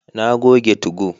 Na goge 2go